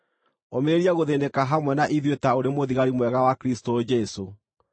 Ũmĩrĩria gũthĩĩnĩka hamwe na ithuĩ ta ũrĩ mũthigari mwega wa Kristũ Jesũ.